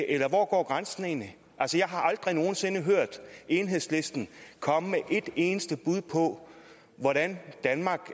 eller hvor går grænsen egentlig altså jeg har aldrig nogen sinde hørt enhedslisten komme med et eneste bud på hvordan danmark